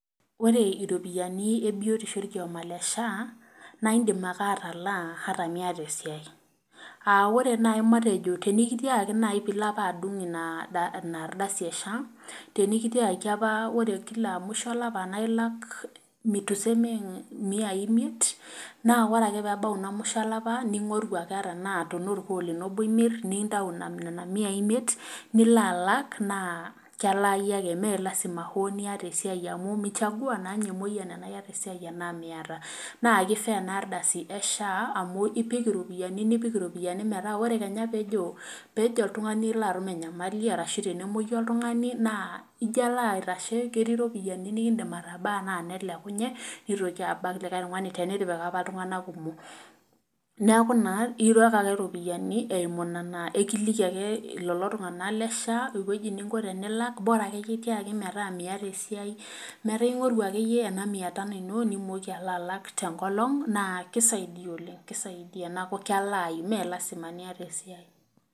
Ore iropiyiani ebiotisho orkioma le SHA naa indim ake ataalaa ata miata esiai ,tenikitiakaki naaji pee ilo apa adung ina ardasi esha, tenikitiaakaki apa ore musho olapa naa ilak miyai imeit naa ore ake pee ebau ina musho olapa ,ningoru ake ata tenaa orkuo lino obo imir nintau nena miyai imeit nilo alak naa kelaayu ake mee lasima niata esiai amu michangua naa ninye emoyian tenaa iyata esiai tenaa miyiata. naa kifaa ena ardasi esha amu ipik iropiani metaa ore kenya peejo oltungani alo atum enyamali orashu tenemoyu oltungani naa ijo alo aitashe ketii ropiani nikiindim atabaa nelekunye neitoki abak likae tungani tenitipika apa ltunganak kumok ,neeku ekiliki ake lelo tunganak le SHA eweji ninko tenilak bora akeyie tiaki miata esiai metaa ingoru akayie ena miya tano ino nitumoki alo alak tenkolong naa keisidai oleng kelaaku mee lasima niyata esiai.